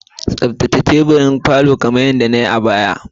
Tsaftace ka goge teburan gefen falon kamar yadda nai a baya